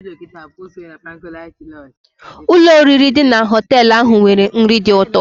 Ụlọ oriri dị na họtel ahụ nwere nri dị ụtọ.